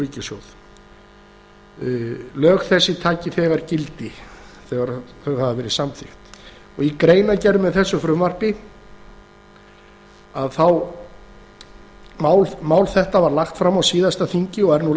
ríkissjóði áttundu grein lög þessi öðlast þegar gildi það er þegar þau hafa verið samþykkt mál þetta var lagt fram á síðasta þingi og er nú